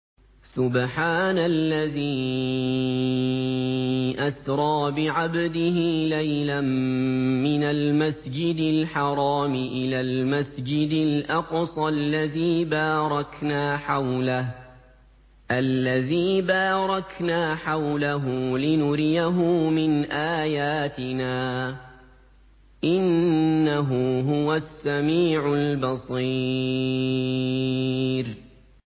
سُبْحَانَ الَّذِي أَسْرَىٰ بِعَبْدِهِ لَيْلًا مِّنَ الْمَسْجِدِ الْحَرَامِ إِلَى الْمَسْجِدِ الْأَقْصَى الَّذِي بَارَكْنَا حَوْلَهُ لِنُرِيَهُ مِنْ آيَاتِنَا ۚ إِنَّهُ هُوَ السَّمِيعُ الْبَصِيرُ